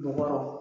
Bɔgɔ